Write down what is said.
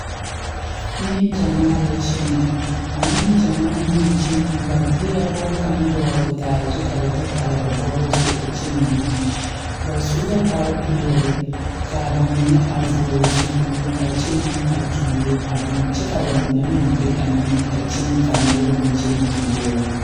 Die poɔ la ka dokogro biŋ ka tabol biŋ kaa dankyime e peɛle kaa dokogro e tampɛloŋ